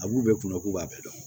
A b'u bɛɛ kunna k'u b'a bɛɛ dɔn